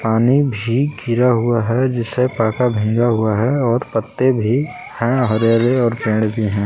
पानी भी गिरा हुआ है। जिसे पाका भीगा हुआ है और पत्ते भी हैं हरे हरे और पेड़ भी हैं।